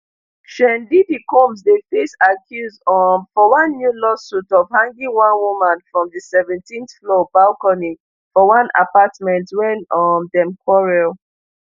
sean diddy combs dey face accuse um for one new lawsuit of hanging one woman from di seventeenthfloor balcony for one apartment wen um dem quarrel